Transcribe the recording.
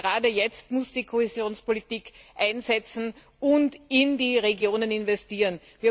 Ich glaube, gerade jetzt muss die Kohäsionspolitik einsetzen und in die Regionen investieren.